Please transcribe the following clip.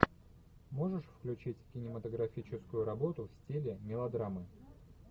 можешь включить кинематографическую работу в стиле мелодрамы